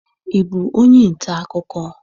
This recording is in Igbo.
Ị bụ onye nta akụkọ?